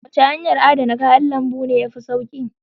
Wace hanyar adana kayan lambu ce ta fi sauƙi?